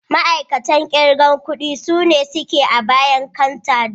Ma'aikatan kirgan ƙudi sune suke a bayan canter don